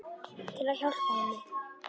Til að hjálpa henni.